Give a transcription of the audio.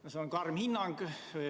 See on karm hinnang.